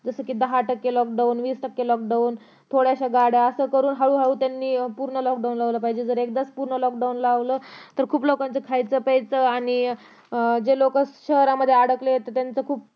जसं कि दहा टक्के lock down वीस टक्के lock down थोड्याशा गाड्या असं करून त्यांनी हळू हळू पूर्ण lock down लावलं पाहिजे जर एकदाच पूर्ण lock down लावलं तर लोकचं खायचं प्यायचं आणि अं जे लोक शहरामध्ये अडकलं तर त्यांचं खुप